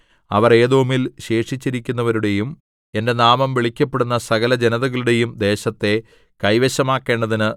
അവർ ഏദോമിൽ ശേഷിച്ചിരിക്കുന്നവരുടെയും എന്റെ നാമം വിളിക്കപ്പെടുന്ന സകലജനതകളുടെയും ദേശത്തെ കൈവശമാക്കേണ്ടതിന്